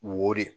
Wori